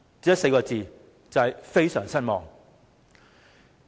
只有4個字，非常失望。